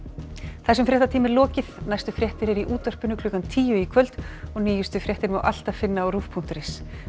þessum fréttatíma er lokið næstu fréttir eru í útvarpi klukkan tíu í kvöld og nýjustu fréttir má alltaf finna á rúv punktur is